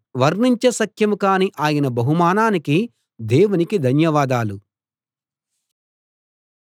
వర్ణించ శక్యం గాని ఆయన బహుమానానికి దేవునికి ధన్యవాదాలు